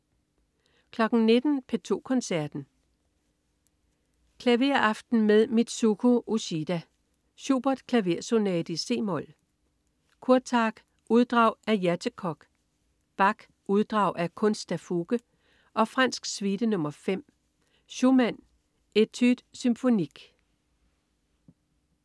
19.00 P2 Koncerten. Klaveraften med Mitsuko Uchida. Schubert: Klaversonate i c-mol. Kurtag: Uddrag af "Játékok". Bach: Uddrag af "Kunst der Fuge" og "Fransk Suite nr. 5". Schumann: Etudes Symphoniques